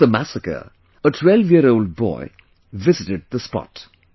Post the massacre, a 12 year old boy visited the spot